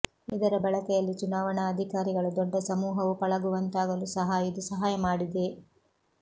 ಇದರ ಬಳಕೆಯಲ್ಲಿ ಚುನಾವಣಾ ಅಧಿಕಾರಿಗಳು ದೊಡ್ಡ ಸಮೂಹವು ಪಳಗುವಂತಾಗಲು ಸಹ ಇದು ಸಹಾಯ ಮಾಡಿದೆ